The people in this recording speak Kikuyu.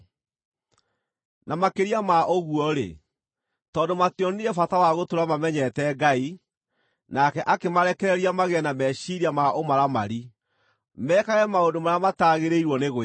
Na makĩria ma ũguo-rĩ, tondũ mationire bata wa gũtũũra mamenyete Ngai, nake akĩmarekereria magĩe na meciiria ma ũmaramari, mekage maũndũ marĩa mataagĩrĩirwo nĩ gwĩkwo.